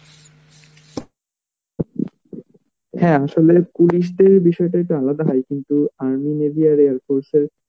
হ্যাঁ আসলে police দের বিষয় টা একটু আলাদা হয় কিন্তু army navy আর air force এর